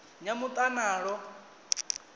nyamuḽanalo